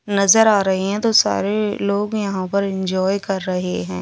नज़र आ रहे हैं तो सारे लोग यहाँ पर ऐन्जॉय कर रहे हैं।